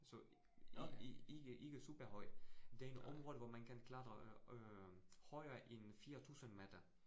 Så ikke ikke superhøjt. Det en område, hvor man kan klatre øh højere end 4000 meter